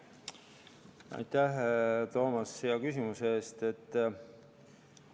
Aitäh, Toomas, hea küsimuse eest!